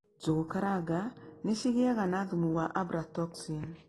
Njũgũ karanga nĩ cigĩaga na thumu wa abratoxini.